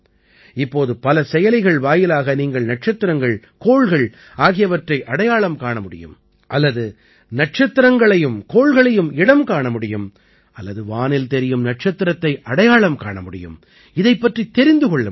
இப்போது பல செயலிகள் வாயிலாக நீங்கள் நட்சத்திரங்கள் கோள்கள் ஆகியவற்றை அடையாளம் காண முடியும் அல்லது நட்சத்திரங்களையும் கோள்களையும் இடம் காண முடியும் அல்லது வானில் தெரியும் நட்சத்திரத்தை அடையாளம் காண முடியும் இதைப் பற்றித் தெரிந்து கொள்ள முடியும்